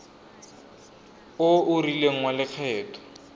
o o rileng wa lekgetho